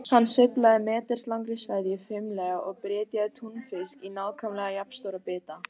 Hann sveiflaði meters langri sveðju fimlega og brytjaði túnfisk í nákvæmlega jafn stóra bita.